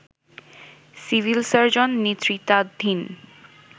civil surgeon নেতৃত্বাধীন